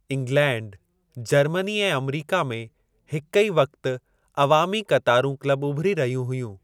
England, Germany ऐं America में हिक ई वक़्ति अवामी क़तारूं क्लब उभिरी रहियूं हुयूं।